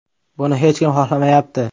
Buni hech kim xohlamayapti.